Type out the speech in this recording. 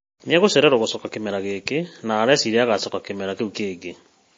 Nĩagũcererwo gũcoka kĩmera gĩkĩ na areciria agacoka kĩmera kĩu kĩngĩ